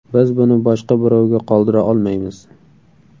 Biz buni boshqa birovga qoldira olmaymiz.